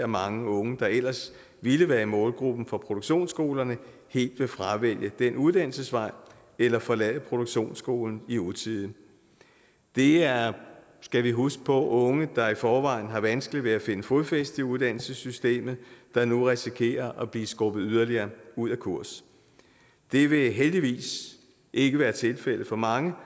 mange unge der ellers ville være i målgruppen for produktionsskolerne helt vil fravælge den uddannelsesvej eller forlade produktionsskolen i utide det er skal vi huske på unge der i forvejen har vanskeligt ved at finde fodfæste i uddannelsessystemet der nu risikerer at blive skubbet yderligere ud af kurs det vil heldigvis ikke være tilfældet for mange